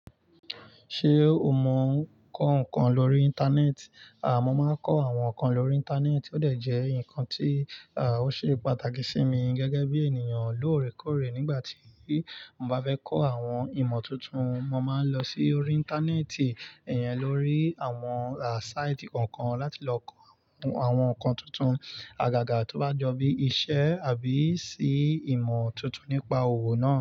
Ṣé o mọ ǹkan kan lórí Íńtánẹ́ẹ̀tì? À, mọ́ máa ń kọ àwọn ǹkan lórí Íńtánẹ́ẹ̀tì, ó dẹ̀ jẹ́ ǹkan tí àá ó ṣe pàtàkì sí mi gẹ́gẹ́ bí ènìyàn lóòrèkóòrè. Nígbà tí mo bá fẹ́ kọ àwọn ìmọ̀ tuntun, mo máa ń lọ sí orí Íńtánẹ́ẹ̀tì, iyẹn lórí àwọn àá sáìtì kọ̀ọ̀kan láti lọ kọ àwọn ǹkan tuntun, àgàgà tó bá jọ bí iṣẹ́ àbí sì ìmọ̀ tuntun nípa owo náà.